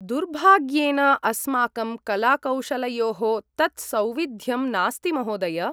दुर्भाग्येन अस्माकं कलाकौशलयोः तत् सौविध्यं नास्ति महोदय!